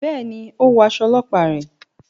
Béèni, o wọ aṣọ ọlọpa rẹ